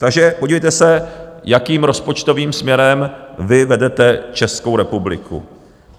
Takže podívejte se, jakým rozpočtovým směrem vy vedete Českou republiku.